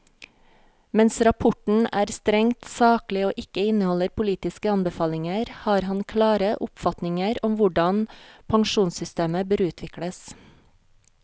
Mens rapporten er strengt saklig og ikke inneholder politiske anbefalinger, har han klare oppfatninger om hvordan pensjonssystemer bør utvikles.